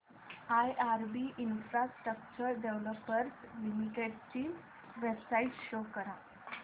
IRB infrastructure developers limited ची website show करा